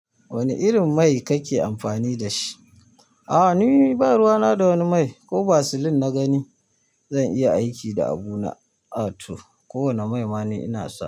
Wane irin mai kake amfani da shi? A'a ni ba ruwa na da wani mai, ko basilin na gani. Zan iya aiki da abu na ato. Ko wane mai mani ina so.